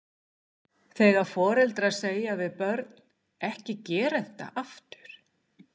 Þegar foreldrar segja við börn, ekki gera þetta aftur?